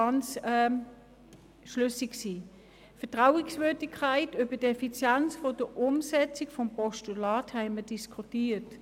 Über die Vertrauenswürdigkeit betreffend die Effizienz der Umsetzung dieses Postulats haben wir diskutiert.